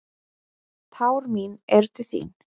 Tár mín eru til þín.